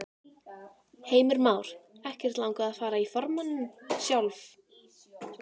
Heimir Már: Ekkert langað að fara í formanninn sjálf?